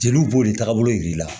Jeliw b'o de tagabolo yir'i la